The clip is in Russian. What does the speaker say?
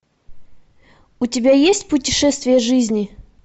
у тебя есть путешествие жизни